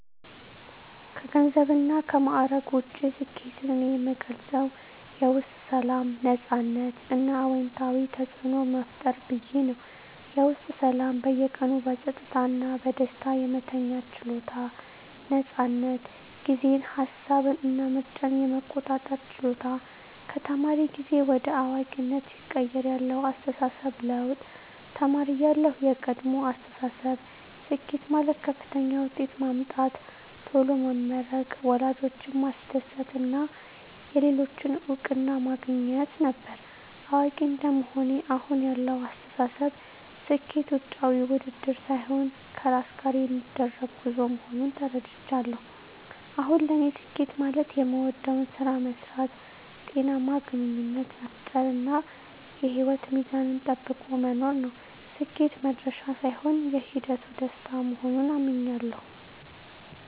ከገንዘብና ከማዕረግ ውጭ፣ ስኬትን እኔ የምገልጸው የውስጥ ሰላም፣ ነፃነት እና አዎንታዊ ተፅዕኖ መፍጠር ብዬ ነው። -የውስጥ ሰላም በየቀኑ በጸጥታ እና በደስታ የመተኛት ችሎታ። ነፃነት ጊዜን፣ ሃሳብን እና ምርጫን የመቆጣጠር ችሎታ -ከተማሪ ጊዜ ወደ አዋቂነት ሲቀየር ያለው አስተሳሰብ ለውጥ -ተማሪ እያለሁ (የቀድሞ አስተሳሰብ)፦ ስኬት ማለት ከፍተኛ ውጤት ማምጣት፣ ቶሎ መመረቅ፣ ወላጆችን ማስደሰት እና የሌሎችን እውቅና ማግኘት ነበር። አዋቂ እንደመሆኔ (አሁን ያለው አስተሳሰብ)፦ ስኬት ውጫዊ ውድድር ሳይሆን ከራስ ጋር የሚደረግ ጉዞ መሆኑን ተረድቻለሁ። አሁን ለኔ ስኬት ማለት የምወደውን ስራ መስራት፣ ጤናማ ግንኙነት መፍጠር፣ እና የህይወት ሚዛንን ጠብቆ መኖር ነው። ስኬት "መድረሻ" ሳይሆን የሂደቱ ደስታ መሆኑን አምኛለሁ። -